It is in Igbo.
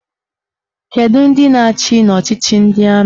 Kedụ ndị na-achị n'ọchịchị ndị amị?